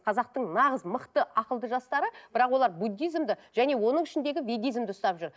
қазақтың нағыз мықты ақылды жастары бірақ олар буддизмді және оның ішіндегі видизмді ұстап жүр